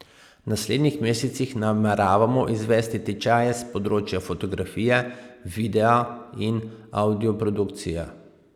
V naslednjih mesecih nameravamo izvesti tečaje s področja fotografije, videa in avdioprodukcije.